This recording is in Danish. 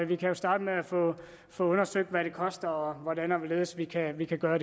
vi kan starte med at få undersøgt hvad det koster og hvordan og hvorledes vi kan vi kan gøre